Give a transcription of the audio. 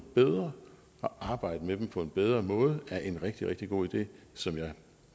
bedre og arbejde med dem på en bedre måde er en rigtig rigtig god idé som jeg